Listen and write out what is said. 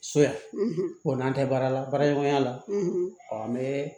So yan o n'an tɛ baara la baaraɲɔgɔnya la an bɛ